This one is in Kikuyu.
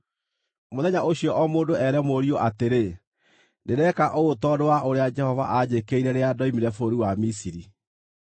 Mũthenya ũcio o mũndũ ere mũriũ atĩrĩ, ‘Ndĩreka ũũ tondũ wa ũrĩa Jehova aanjĩkĩire rĩrĩa ndoimire bũrũri wa Misiri.’